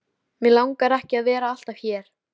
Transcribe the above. Mig langar ekki að vera alltaf hér.